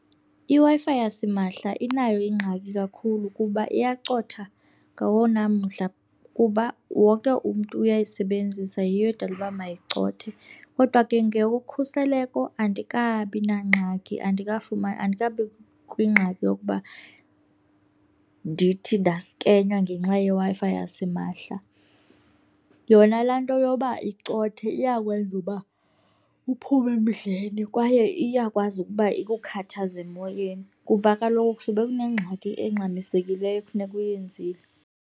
IWi-Fi yasimahla inayo ingxaki kakhulu kuba iyacotha ngawona mdla kuba wonke umntu uyayisebenzisa yiyo edala uba mayicothe. Kodwa ke ngeyokhuseleko andikabi nangxaki, andikafumani, andikabi kwingxaki yokuba ndithi ndaskenywa ngenxa yeWi-Fi yasimahla. Yona laa nto yoba icothe iyawenza uba uphume emdleni kwaye iyakwazi ukuba ikukhathaze emoyeni kuba kaloku kusube kunengxaki engxamisekileyo ekufuneka uyenzile.